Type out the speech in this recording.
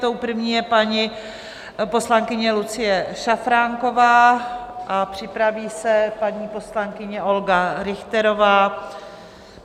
Tou první je paní poslankyně Lucie Šafránková a připraví se paní poslankyně Olga Richterová.